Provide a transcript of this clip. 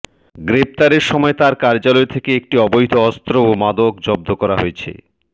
গ্রেফতারের সময় তার কার্যালয় থেকে একটি অবৈধ অস্ত্র ও মাদক জব্দ করা হয়েছে